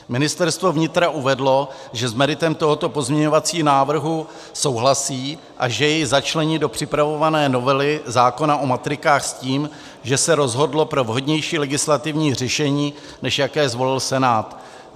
Ministerstvo vnitra uvedlo, že s meritem tohoto pozměňovacího návrhu souhlasí a že jej začlení do připravované novely zákona o matrikách s tím, že se rozhodlo pro vhodnější legislativní řešení, než jaké zvolil Senát.